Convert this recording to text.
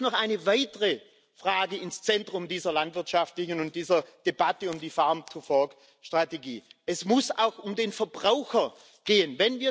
Es muss noch eine weitere Frage ins Zentrum dieser landwirtschaftlichen Debatte und dieser Debatte um die Farm to Fork Strategie Es muss auch um den Verbraucher gehen.